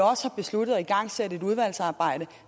også har besluttet at igangsætte et udvalgsarbejde